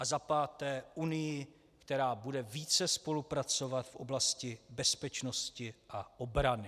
A za páté Unii, která bude více spolupracovat v oblasti bezpečnosti a obrany.